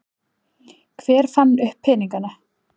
Hver fann upp peningana?